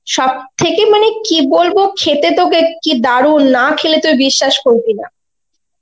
সব থেকে মানে কি বলবো খেতে তোকে কি দারুন, না খেলে তুই বিশ্বাস করবি না.